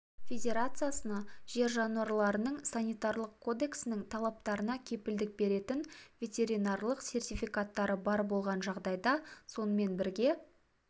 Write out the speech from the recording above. федерациясына жер жануарларының санитарлық кодексінің талаптарына кепілдік беретін ветеринарлық сертификаттары бар болған жағдайда сонымен бірге